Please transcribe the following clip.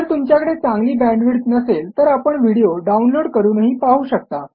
जर तुमच्याकडे चांगली बॅण्डविड्थ नसेल तर आपण व्हिडिओ डाउनलोड करूनही पाहू शकता